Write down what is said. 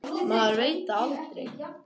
Maður veit það aldrei.